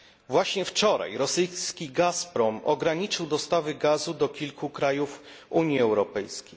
Właśnie wczoraj rosyjski Gazprom ograniczył dostawy gazu do kilku krajów Unii Europejskiej.